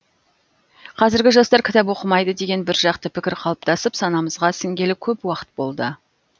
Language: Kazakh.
қазіргі жастар кітап оқымайды деген бір жақты пікір қалыптасып санамызға сіңгелі көп уақыт болды